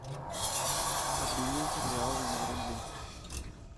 обменять реалы на рубли